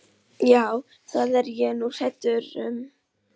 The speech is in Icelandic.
Já, það er ég nú hræddur um.